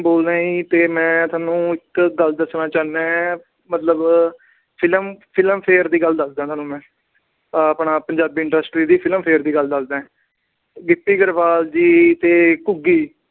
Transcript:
ਬੋਲ ਰਿਹਾ ਤੇ ਮੈਂ ਤੁਹਾਨੂੰ ਇੱਕ ਗੱਲ ਦੱਸਣਾ ਚਾਹੁੰਦਾ। ਮੈਂ ਮਤਲਬ film ਅਹ Film Fare Award ਦੀ ਗੱਲ ਦੱਸਦਾ ਤੁਹਾਨੂੰ ਮੈਂ। ਆਹ ਆਪਣਾ ਪੰਜਾਬੀ industry ਦੀ Film Fare ਦੀ ਗੱਲ ਦੱਸਦਾ। ਗਿੱਪੀ ਗਰੇਵਾਲ ਜੀ ਤੇ ਘੁੱਗੀ